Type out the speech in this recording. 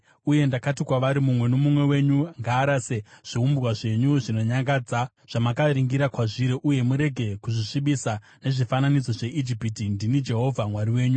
Uye ndakati kwavari, “Mumwe nomumwe wenyu ngaarase zviumbwa zvenyu zvinonyangadza zvamakaringira kwazviri, uye murege kuzvisvibisa nezvifananidzo zveIjipiti. Ndini Jehovha Mwari wenyu.”